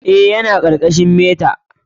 Eh, yana ƙarƙashin meta.